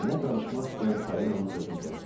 Nənə danışmaq istəyən Parinanın sözünü kəsdi.